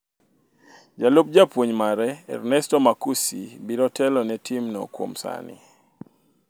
Jalup japuonj mare Ernesto Marcucci biro telo ni tim no kuom sani